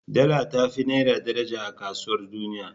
Dala ta fi naira daraja a kasuwar duniya.